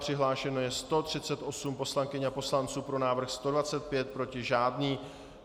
Přihlášeno je 138 poslankyň a poslanců, pro návrh 125, proti žádný.